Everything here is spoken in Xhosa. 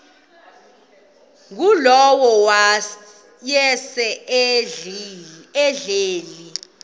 ngulowo wayesel ehleli